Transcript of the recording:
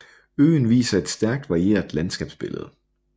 Øen viser et stærk varieret landskabsbillede